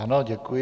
Ano, děkuji.